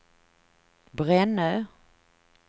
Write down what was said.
Brännö